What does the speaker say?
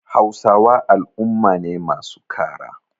Hausawa al'umma ne masu kara.